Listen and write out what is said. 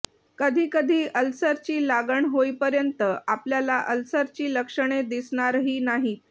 कधी कधी अल्सरची लागण होईपर्यंत आपल्याला अल्सरची लक्षणे दिसणारही नाहीत